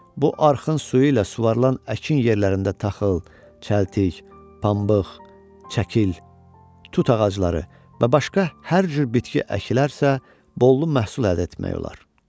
Bu arxın suyu ilə suvarılan əkin yerlərində taxıl, çəltik, pambıq, çəkil, tut ağacları və başqa hər cür bitki əkilərsə, bol məhsul əldə etmək olar.